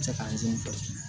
Cɛ ka